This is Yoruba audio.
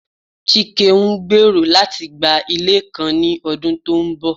Chike ngbero lati gba ile kan ni ọdun to nbọ